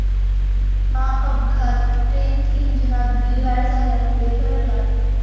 हा अपघात ट्रेंट इंजिनात बिघाड झाल्यामुळे घडला.